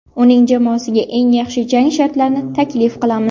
Uning jamoasiga eng yaxshi jang shartlarini taklif qilamiz.